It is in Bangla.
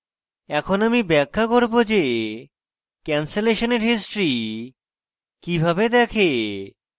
এখন আমি ব্যাখ্যা করব যে ক্যানসলেশনের history কিভাবে দেখে